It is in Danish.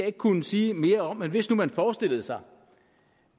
ikke kunne sige mere om men hvis man nu forestillede sig